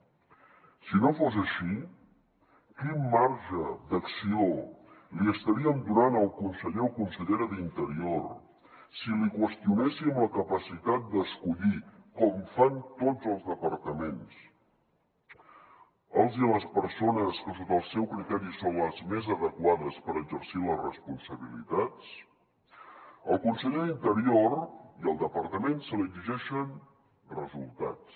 si no fos així quin marge d’acció li estaríem donant al conseller o consellera d’interior si li qüestionéssim la capacitat d’escollir com fan tots els departaments les persones que sota el seu criteri són les més adequades per exercir les responsabilitats al conseller d’interior i al departament se li exigeixen resultats